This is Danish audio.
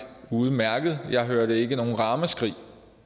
udmærket jeg hørte ikke noget ramaskrig